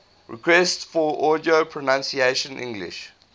requests for audio pronunciation english